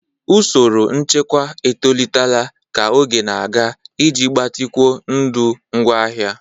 Usoro nchekwa etolitela ka oge na-aga iji gbatịkwuo ndụ ngwaahịa.